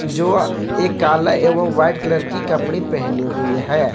जो एक काला एवं व्हाईट कलर की कपड़े पहनी हुई है।